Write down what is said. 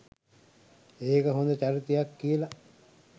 ඒක හොඳ චරිතයක් කියල